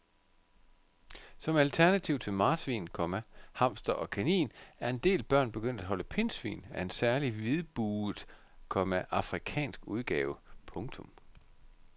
Som alternativ til marsvin, komma hamster og kanin er en del børn begyndt at holde pindsvin af en særlig hvidbuget, komma afrikansk udgave. punktum